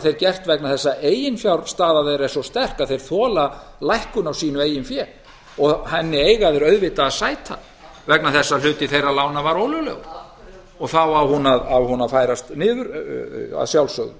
þeir gert vegna þess að eiginfjárstaða þeirra er svo sterk að þeir þola lækkun á sínu eigin fé og henni eiga þeir auðvitað að sæta vegna þess að hluti þeirra lána var ólöglegur þá á hún að færast niður að sjálfsögðu